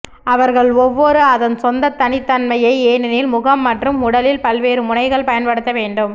அவர்கள் ஒவ்வொரு அதன் சொந்த தனித்தன்மையை ஏனெனில் முகம் மற்றும் உடலில் பல்வேறு முனைகள் பயன்படுத்த வேண்டும்